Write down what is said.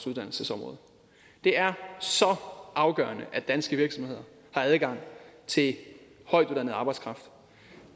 uddannelsesområdet det er så afgørende at danske virksomheder har adgang til højtuddannet arbejdskraft